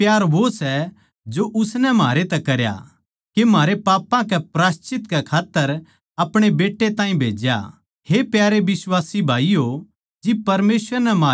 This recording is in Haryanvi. परमेसवर ताहीं भी किसे नै न्ही देख्या जै हम आप्पस म्ह प्यार करां तो परमेसवर म्हारै म्ह बसा रहवै सै अर उसका प्यार म्हारै म्ह सिध्द होग्या